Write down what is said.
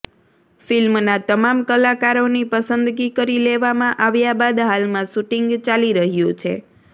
ફિલ્મના તમામ કલાકારોની પસંદગી કરી લેવામાં આવ્યા બાદ હાલમાં શુટિંગ ચાલી રહ્યુ છે